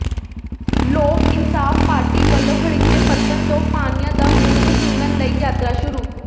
ਲੋਕ ਇਨਸਾਫ਼ ਪਾਰਟੀ ਵਲੋਂ ਹਰੀਕੇ ਪੱਤਣ ਤੋਂ ਪਾਣੀਆਂ ਦਾ ਮੁਲ ਵਸੂਲਣ ਦੀ ਯਾਤਰਾ ਸ਼ੁਰੂ